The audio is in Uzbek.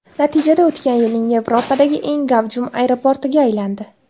Natijada o‘tgan yilning Yevropadagi eng gavjum aeroportiga aylandi.